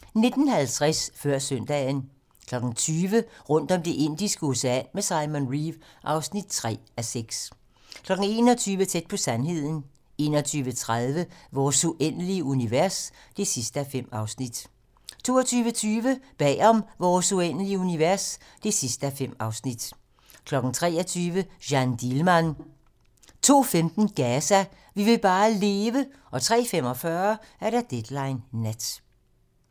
19:50: Før Søndagen 20:00: Rundt om Det indiske Ocean med Simon Reeve (3:6) 21:00: Tæt på sandheden 21:30: Vores uendelige univers (5:5) 22:20: Bag om Vores uendelige univers (5:5) 23:00: Jeanne Dielman 02:15: Gaza - vi vil bare leve! 03:45: Deadline nat